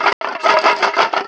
Hún fékk tár í augun.